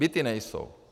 Byty nejsou.